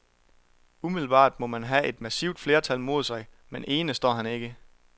Umiddelbart må han have et massivt flertal mod sig, men ene står han ikke.